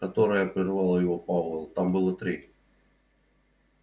которое прервал его пауэлл там было три